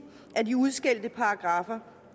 af de udskældte paragraffer